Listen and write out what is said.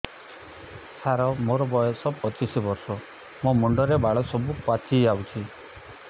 ସାର ମୋର ବୟସ ପଚିଶି ବର୍ଷ ମୋ ମୁଣ୍ଡରେ ବାଳ ସବୁ ପାଚି ଯାଉଛି